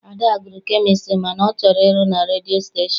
Ada gụrụ kemịstri mana ọ chọrọ ịrụ na redio stashon.